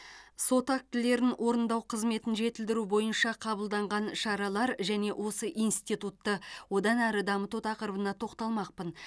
сот актілерін орындау қызметін жетілдіру бойынша қабылданған шаралар және осы институтты одан әрі дамыту тақырыбына тоқталмақпын